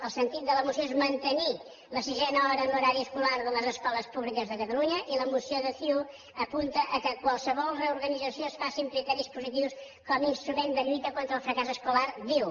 el sentit de la moció és mantenir la sisena hora en l’horari escolar de les escoles públiques de catalunya i la moció de ciu apunta que qualsevol reorganització es faci amb criteris positius com a instrument en la lluita contra el fracàs escolar diu